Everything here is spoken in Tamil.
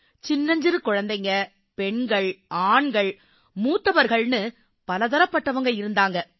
சின்னஞ்சிறு குழந்தைகள் பெண்கள் ஆண்கள் மூத்தவர்கள்ன்னு பலதரப்பட்டவங்க இருந்தாங்க